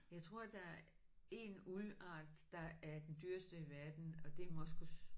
Jeg tror der er 1 uldart der er den dyreste i verden og det er moskus